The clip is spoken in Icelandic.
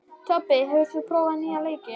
Tobbi, hefur þú prófað nýja leikinn?